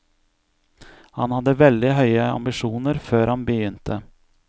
Han hadde veldig høye ambisjoner før han begynte.